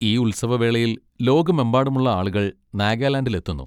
ഈ ഉത്സവ വേളയിൽ ലോകമെമ്പാടുമുള്ള ആളുകൾ നാഗാലാൻഡിലെത്തുന്നു.